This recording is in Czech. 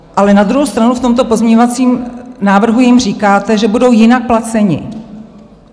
Ale na druhou stranu v tomto pozměňovacím návrhu jim říkáte, že budou jinak placeni.